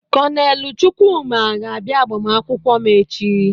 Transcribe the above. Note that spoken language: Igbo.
Kọnelụ Chukwuma ga-abịa agbamakwụkwọ m.